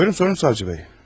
Buyurun sorun savcı bey.